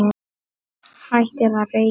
Hættið að reykja!